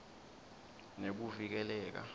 nekuvikeleka